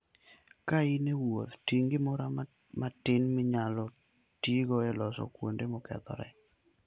Ka in e wuoth, ting' gimoro matin minyalo tigo e loso kuonde mokethore.